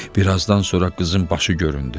Bir azdan sonra qızın başı göründü.